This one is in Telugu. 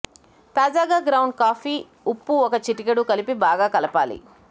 తాజాగా గ్రౌండ్ కాఫీ ఉప్పు ఒక చిటికెడు కలిపి బాగా కలపాలి